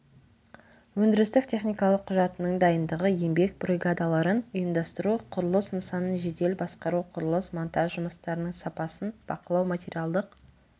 өндірістік техникалық құжатының дайындығы еңбек бригадаларын ұйымдастыру құрылыс нысанын жедел басқару құрылыс монтаж жұмыстарының сапасын бақылау материалдық